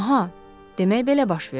Aha, demək belə baş verdi.